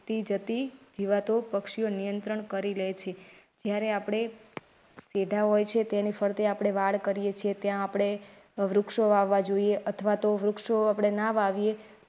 થી જતી જીવાતો પક્ષીઓ નિયંત્રણ કરી લે છે જયારે આપડે પેઢા હોય છે તેની ફરતે આપણે વાડ કરીએ છીએ. ત્યાં આપણે વૃક્ષો વાવવા જોઈએ અથવા તો વૃક્ષો આપડે ના વાવીએ.